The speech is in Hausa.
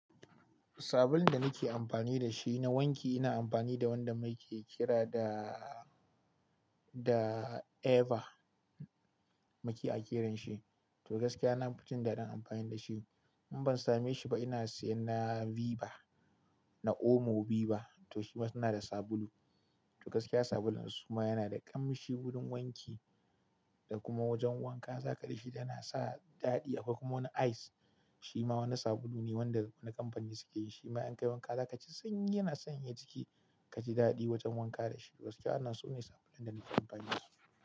Sabulun da nake amfani da shi na wanki ina amfani da wanda muke kira da, da Ava muke a kiran shi. To gaskiya na fi jin daɗin amfani da shi. In ban same shi ba ina sayan na Viva, na Omo Viva. To shi ma suna da sabulu. To gaskiya sabulun su ma yana da ƙamshi wurin wanki da kuma wajen wanka za ka ji shi yana sa daɗi. Akwai kuma wani Ice, shi ma wani sabulu ne wanda na kamfani suke yi. Shi ma in kai wanka za ka ji sanyi yana sanyaya jiki ka ji daɗi wajen wanka da shi. Gaskiya suna so ne sabulun da nake amfani da su.